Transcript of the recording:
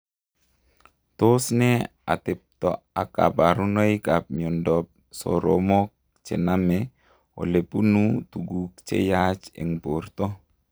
Tos nee ateptoo ak kaparunoik ap miondoop soromok chenamee olepunuu tuguk cheyaach eng portoo?